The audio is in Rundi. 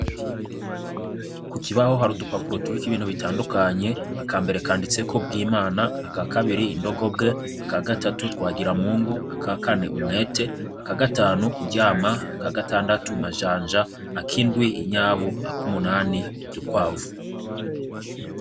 Ku kibaho hari udupapuro turiko bintu bitandukanye, akambere kanditseko bwimana, aka kabiri indogobwe, aka gatatu twagiramungu, aka kane umwete, aka gatanu kuryama, aka gatandatu majanja, ak'indwi inyabu, ak'umunani udukwavu.